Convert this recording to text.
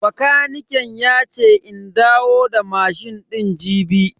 Bakaniken yace in dawo da mashin din jibi.